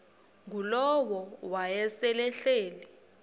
ngulowo wayesel ehleli